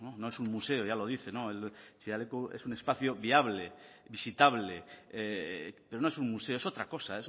no es un museo ya lo dice chillida leku es un espacio viable visitable pero no es un museo es otra cosa